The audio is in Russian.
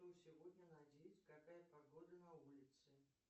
что сегодня надеть какая погода на улице